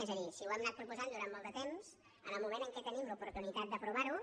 és a dir si ho hem anat proposant durant molt de temps en el moment que tenim l’oportunitat d’aprovar ho